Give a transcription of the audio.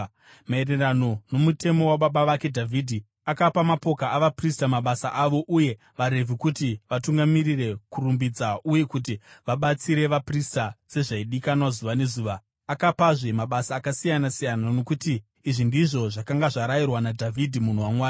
Maererano nomutemo wababa wake Dhavhidhi, akapa mapoka avaprista mabasa avo uye vaRevhi kuti vatungamirire kurumbidza uye kuti vabatsire vaprista sezvaidikanwa zuva nezuva. Akapazve mabasa akasiyana-siyana, nokuti izvi ndizvo zvakanga zvarayirwa naDhavhidhi munhu waMwari.